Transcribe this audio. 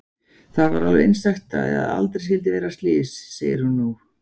Það var alveg einstakt að aldrei skyldi verða slys, segir hún nú.